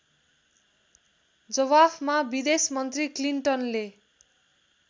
जवाफमा विदेशमन्त्री क्लिन्टनले